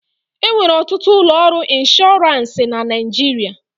E nwere ọtụtụ ụlọ ọrụ ịnshọransị na Naịjirịa.